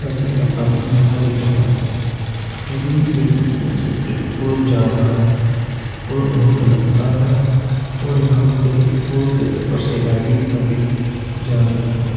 नदी का पानी हरा दिख रहा है नदी के बीच में से एक पुल जा रहा है और बहोत लंबा है और यहां पर पूल के ऊपर से गाड़ी वाड़ी जा रही है।